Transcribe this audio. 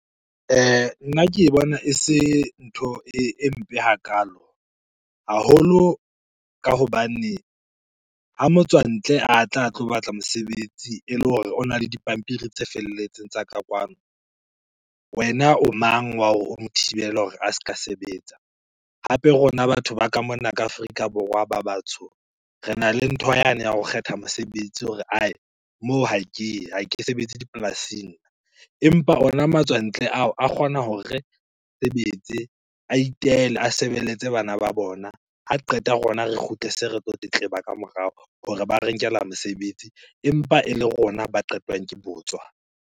Nna ke bona e se ntho e mpe hakaalo. Haholo ka hobane ha motswantle a tla a tlo batla mosebetsi ele hore ona le dipampiri tse felletseng tsa ka kwano, wena o mang wa hore o mo thibele hore a ska sebetsa? Hape rona batho ba ka mona ka Afrika Borwa ba batsho, rena le ntho yane ya ho kgetha mosebetsi hore moo ha ke ye, ha ke sebetse dipolasing. Empa ona matswantle ao, a kgona hore sebetse, a itele, a sebeletse bana ba bona. Ha qeta rona re kgutle se re tlo tletleba ka morao hore ba re nkela mesebetsi, empa e le rona ba qetwang ke botswa.